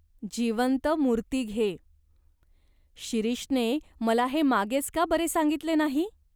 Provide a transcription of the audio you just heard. जिवंत मूर्ती घे. शिरीषने मला हे मागेच का बरे सांगितले नाही ?